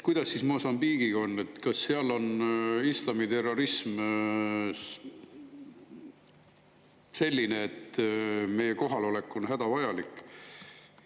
Kuidas Mosambiigiga on, kas seal on islamiterrorism selline, et meie kohalolek on hädavajalik?